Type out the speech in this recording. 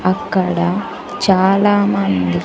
అక్కడ చాలామంది--